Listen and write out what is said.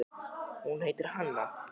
Hún heitir Hanna.